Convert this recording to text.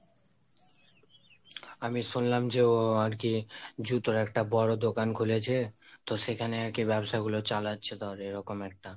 আমি শুনলাম যে ও আরকি জুতোর একটা বড় দোকান খুলেছে, তো সেখানে আরকি বাবসাগুলো চালাচ্ছে তাহলে এরকম একটা